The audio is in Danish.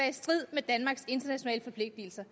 i strid med danmarks internationale forpligtelser